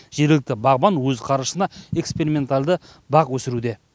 жергілікті бағбан өз қаржысына эксперименталды бақ өсіруде